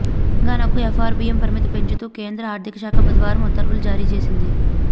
తెలంగాణకు ఎఫ్ఆర్బిఎం పరిమితి పెంచుతూ కేంద్ర ఆర్థికశాఖ బుధవారం ఉత్తర్వులు జారీ చేసింది